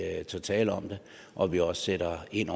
at vi tør tale om det og at vi også sætter ind